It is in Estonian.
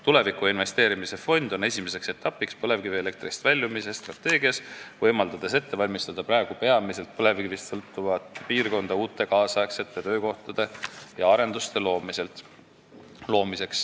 Tulevikku investeerimise fond on esimene etapp põlevkivielektrist väljumise strateegias, võimaldades praegu peamiselt põlevkivist sõltuvat piirkonda ette valmistada uute, nüüdisaegsete töökohtade ja arenduste jaoks.